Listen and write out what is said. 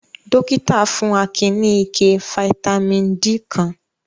Dọ́kítá fún Akin ní ike fataímìn D kan.